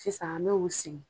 Sisan an me u sigi.